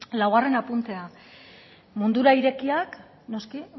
laugarren apuntea mundura irekiak noski